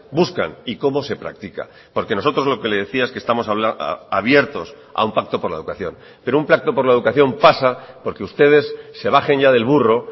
buscan y cómo se practica porque nosotros lo que le decía es que estamos abiertos a un pacto por la educación pero un pacto por la educación pasa por que ustedes se bajen ya del burro